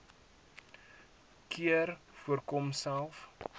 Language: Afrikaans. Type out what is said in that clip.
keer voorkom selfs